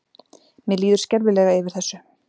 Mér líður skelfilega yfir þessu.